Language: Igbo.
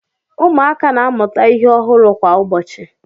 Ụmụaka na-amụta ihe ọhụrụ kwa ụbọchị